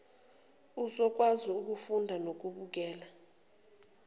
uzokwazi ukufunda nokubukela